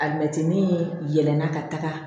A mɛtiinin yɛlɛnna ka taga